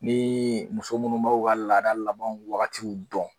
Nii muso munnu b'o ka laada laban wagatiw dɔn